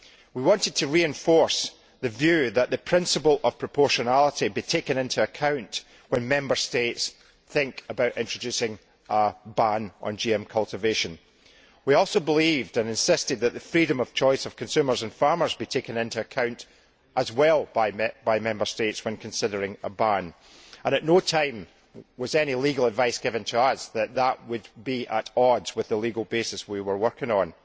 We wanted to reinforce the view that the principle of proportionality should be taken into account when Member States think about introducing a ban on GM cultivation. We also believed and insisted that the freedom of choice of consumers and farmers should also be taken into account by Member States when considering a ban, and at no time was any legal advice given to us that this would be at odds with the legal basis we were working